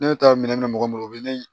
Ne bɛ taa minɛn minɛ mɔgɔ bolo u bɛ ne